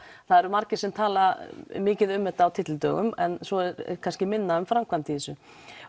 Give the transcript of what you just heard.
það eru margir sem tala mikið um þetta á tyllidögum en svo er kannski minna um framkvæmd í þessu